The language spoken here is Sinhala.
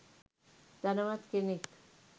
ධනවත් කෙනෙක්